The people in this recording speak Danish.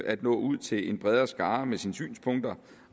at nå ud til en bredere skare med sine synspunkter